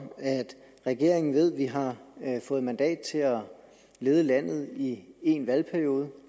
at regeringen ved at vi har fået mandat til at lede landet i en valgperiode